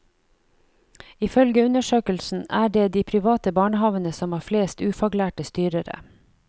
Ifølge undersøkelsen er det de private barnehavene som har flest ufaglærte styrere.